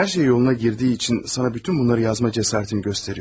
Hər şey yoluna girdiyi üçün sənə bütün bunları yazma cəsarətini göstərirəm.